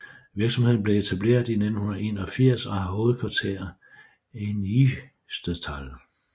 Virksomheden blev etableret i 1981 og har hovedkvarter i Niestetal